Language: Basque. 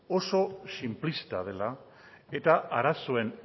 oso sinplista dela eta arazoen